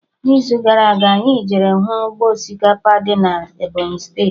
N'izu gara aga, anyị jere hụ ụgbọ osikapa dị na Ebọnyị steeti